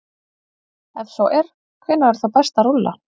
Ef svo er, hvenær er þá best að rúlla?